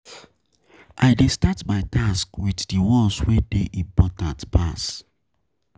I dey start my tasks wit di ones wey dey important pass.